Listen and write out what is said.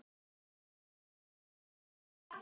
Erfitt er að greina einkenni eins